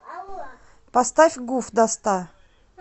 поставь гуф до ста